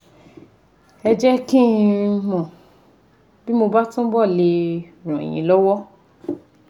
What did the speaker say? Ẹ jẹ́ kí n mọ̀ bí mo bá túbọ̀ le ràn yín lọ́wọ́